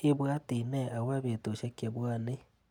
Ibwati nee akopobetushek chebwanii.